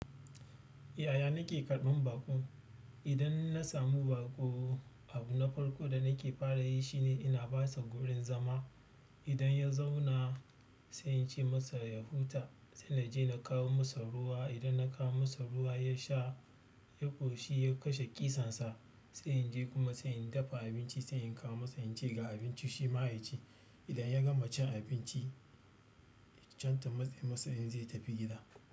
Yaya nake karɓan baƙo? Idan na samu baƙo, abu na farko da nake fara yi shi ne ina ba sa gurin zama. Idan ya zauna sai in ce masa ya huta, sai na je na kawo masa ruwa. Idan na kawo masa ruwa ya sha, ya ƙoshi ya kashe ƙishin sa. Sai in je kuma sai in dafa abinci, sai in kawo masa, in ce ga abinci shi ma ya ci. Idan ya gama cin abinci, can ta matse masa in zai tafi gida.